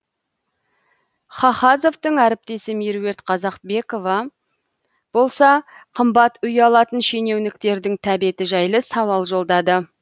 хахазовтың әріптесі меруерт қазақбекова болса қымбат үй алатын шенеуніктердің тәбеті жайлы сауал жолдады